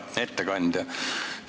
Hea ettekandja!